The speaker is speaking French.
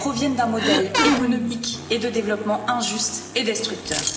Elles proviennent d'un modèle économique et de développement injuste et destructeur.